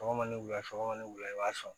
Sɔgɔma ni wula sɔgɔma ne wula i b'a sɔn